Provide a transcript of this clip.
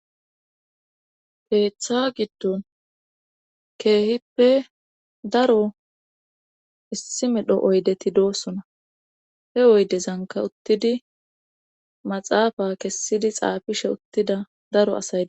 keeththa giddon keehippe daro issi medho oydeti doosona he woydezanka uttidi maxaafa kessidi xaafishe uttida daro asayde